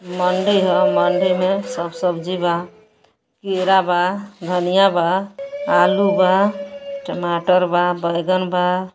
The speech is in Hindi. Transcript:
मंडी ह। मंडी में सब सब्जी बा। केरा बा धनिया बा आलू बा टमाटर बा बैगन बा।